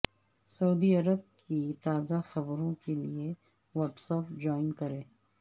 سعودی عرب کی تازہ خبروں کے لیے واٹس ایپ جوائن کریں